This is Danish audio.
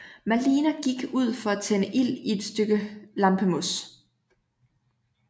Malina gik ud for at tænde ild i et stykke lampemos